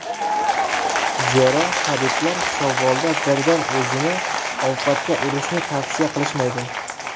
Zero, tabiblar shavvolda birdan o‘zini ovqatga urishni tavsiya qilishmaydi.